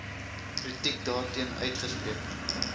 kritiek daarteen uitgespreek